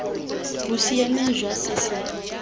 bo siameng jwa se se